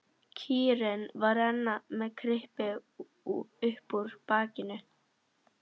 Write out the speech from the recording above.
Kýrin var enn með kryppu upp úr bakinu.